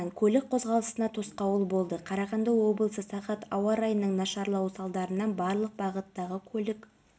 батыр қазыбаев және жанна қастееваны көптен бері танимын қазір көптеген шаралар өткізіліп жатса да бұл